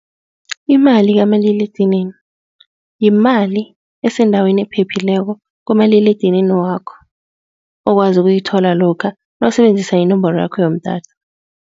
Imali kamaliledinini, yimali esendaweni ephephileko kumaliledinini wakho. Okwazi ukuyithola lokha nawusebenzisa inomboro yakho yomtato.